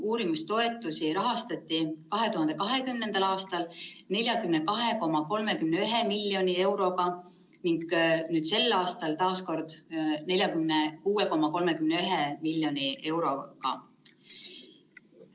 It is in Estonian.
Uurimistoetusi rahastati 2020. aastal 42,31 miljoni euroga ning sel aastal, taas kord, 46,31 miljoni euroga.